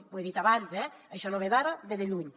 ho he dit abans eh això no ve d’ara ve de lluny